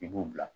I b'o bila